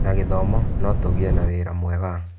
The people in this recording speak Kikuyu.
Na gĩthomo, no tũgĩe wĩra mwega.